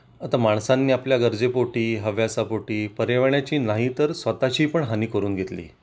आता माणसांना आपल्या गरजे पोटी हव्यासा पोटी पर्यावरणाची नाही तर स्वतःची पण हानी करून घेतली